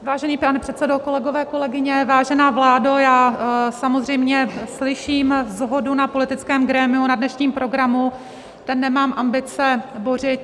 Vážený pane předsedo, kolegové, kolegyně, vážená vládo, já samozřejmě slyším shodu na politickém grémiu na dnešním programu, ten nemám ambice bořit.